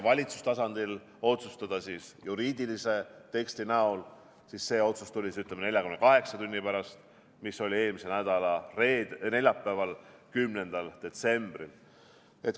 Valitsuse otsusena juriidilise teksti näol tuli see otsus 48 tunni pärast, eelmise nädala neljapäeval, 10. detsembril.